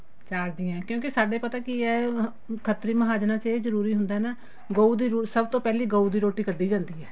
ਚਾਰ ਜੀ ਏ ਕਿਉਂਕਿ ਸਾਡੇ ਪਤਾ ਕੀ ਏ ਖੱਤਰੀ ਮਹਾਜਨਾ ਚ ਇਹ ਜਰੂਰੀ ਹੁੰਦਾ ਨਾ ਗਉ ਦੀ ਸਭ ਤੋਂ ਪਹਿਲੀ ਗਊ ਦੀ ਰੋਟੀ ਕੱਡੀ ਜਾਂਦੀ ਏ